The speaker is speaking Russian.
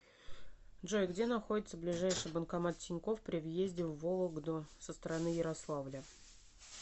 джой где находится ближайший банкомат тинькофф при въезде в вологду со стороны ярославля